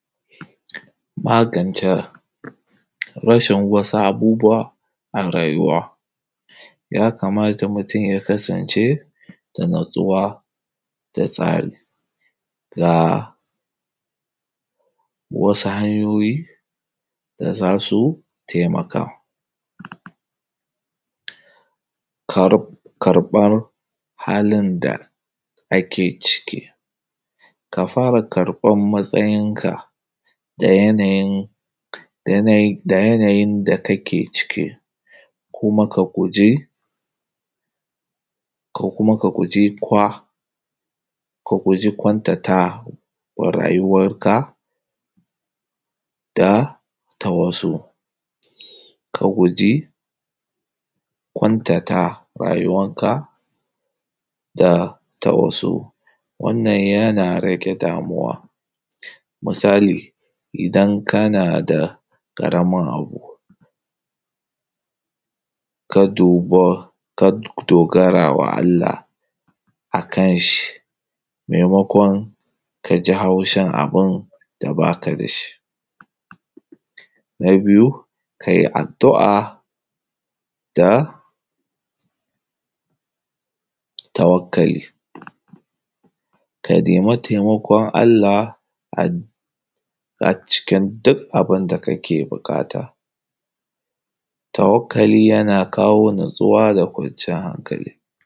Magance, rashin wasu abubuwa a rayuwa. Ya kamata mutum ya kasance da natsuwa da tsari, ga wasu hanyoyi da za su taimaka; karb, karɓan halin da ake ciki; ka fara karɓan matsayinka da yanayin, da yanayin, da yanayin da kake ciki, kuma ka guji, kuma ka guji kwa, ka guji kwantatawa rayuwarka da ta wasu, ka guji kwantata rayuwar ka da ta wasu, wannan yana rage damuwa, misali; idan kana da ƙaramin abu, ka duba, ka dogarawa Allah akan shi, maimakon ka ji haushin abun da baka da shi. Na biyu ka yi addu’a da tawakkali, ka nemi taimakon Allah acikin duk abin da kake buƙata. Tawakkali yana kawo natsuwa da kwanciyar hankali.